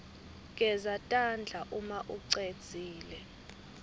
geza tandla umaucedzile